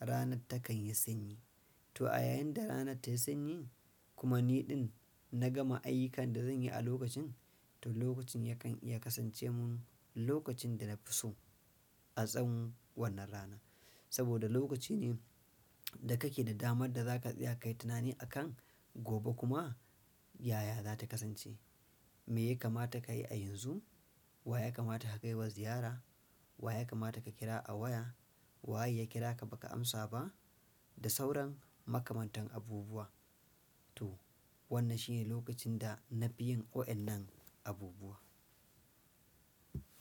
rana takan yi sanyi. To a yayin da rana ta yi sanyi kuma niɗin na gama ayyukan da zan yi a lokacin, to lokacin yakan iya kasance mun lokacin da na fi so a tsawon wannan rana. Saboda lokaci ne da kake da damar da za ka tsaya kayi tunani akan gobe kuma yaya za ta kasance. Me ya kamata ka yi a yanzu? Wa ya kamata ka kaiwa ziyara? Wa ya kamata ka kira a waya? Wa ya kira ka baka amsa ba? Da sauran makamantan abubuwa. To wannan shine lokacin da na fi yin wa'yannan abubuwa.